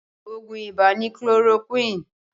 Oògùn ibà ni chloroquine